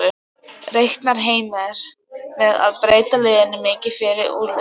Reiknar Heimir með að breyta liðinu mikið fyrir úrslitaleikinn?